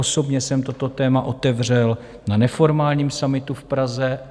Osobně jsem toto téma otevřel na neformálním summitu v Praze.